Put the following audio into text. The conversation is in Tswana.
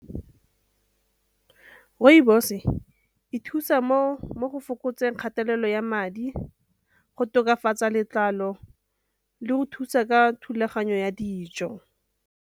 Rooibos e thusa mo go fokotseng kgatelelo ya madi, go tokafatsa letlalo le go thusa ka thulaganyo ya dijo.